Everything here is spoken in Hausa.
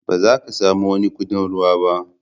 Ba za ka samu wani kuɗin ruwa ba.